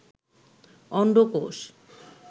অন্ডকোষ